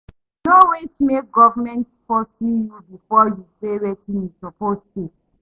No wait make government pursue you before you pay wetin you suppose pay.